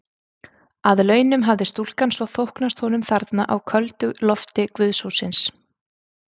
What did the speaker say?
Að launum hafði stúlkan svo þóknast honum þarna á köldu lofti guðshússins.